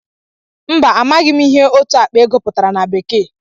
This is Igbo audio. Mba, amaghị m ihe òtù àkpà ego pụtara na békèe